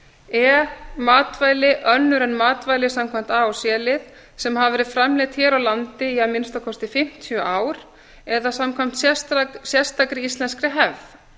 e matvæli önnur en matvæli samkvæmt a til c lið sem hafa verið framleidd hér á landi í að minnsta kosti fimmtíu ár eða samkvæmt sérstakri íslenskri hefð